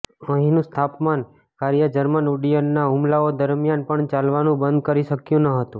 અહીંનું સ્થાપન કાર્ય જર્મન ઉડ્ડયનના હુમલાઓ દરમિયાન પણ ચાલવાનું બંધ કરી શક્યું ન હતું